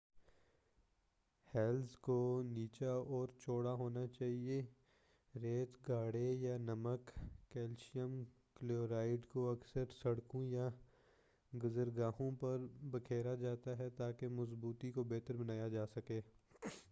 Heals کو نچلا اور چوڑا ہونا چاہئیے۔ ریت، گارے یا نمک کیلشیئم کلورائیڈ کو اکثر سڑکوں یا گُزرگاہوں پر بکھیرا جاتا ہے تاکہ مضبوطی کو بہتر بنایا جاسکے۔